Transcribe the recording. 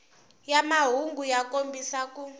ya mahungu ya kombisa ku